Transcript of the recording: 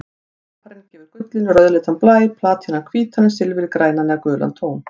Koparinn gefur gullinu rauðleitan blæ, platínan hvítan en silfrið grænan eða gulan tón.